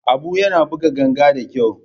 Abu yana buga ganga da kyau.